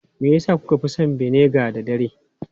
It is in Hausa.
Me yasa kuka fi son vinegar da dare?